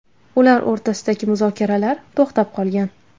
Ular o‘rtasidagi muzokaralar to‘xtab qolgan .